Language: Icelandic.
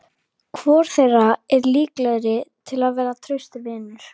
Svenni gætir þess að halda ró sinni.